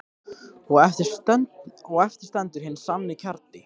Og eftir stendur hinn sanni kjarni.